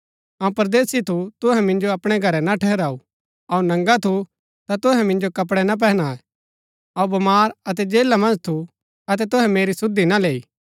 अऊँ परदेसी थु तुहै मिन्जो अपणै घरै ना ठहराऊ अऊँ नंगा थु ता तुहै मिन्जो कपड़ै ना पहनायै अऊँ बमार अतै जेला मन्ज थु अतै तुहै मेरी सुधि ना लैई